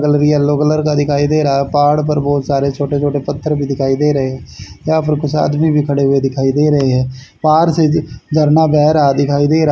Colour yellow colour का दिखाई दे रहा है। पहाड़ पर बहोत सारे छोटे छोटे पत्थर भी दिखाई दे भी रहे है। वहां पर कुछ आदमी भी खड़े हुए दिखाई दे रहे हैं पहार से झरना बैह रहा है दिखाई दे रहा--